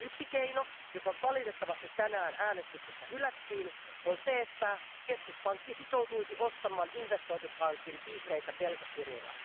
Yksi keino, joka valitettavasti tänään äänestyksessä hylättiin, on se, että keskuspankki sitoutuisi ostamaan investointipankin vihreitä velkakirjoja.